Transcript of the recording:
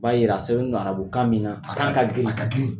U b'a jira a sɛbɛn don arabu kan min na, a kan ka girin, a ka girin.